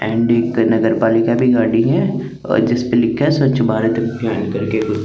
करने का तरीका भी गाड़ी में और जिस पे लिखा है सवच भारत अभियान कर के को--